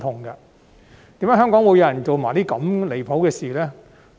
為何香港會有人做出如此離譜的事情呢？